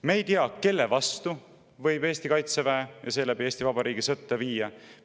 Me ei tea, kelle vastu võib Kaitseväe ja seeläbi Eesti Vabariigi sõtta viia.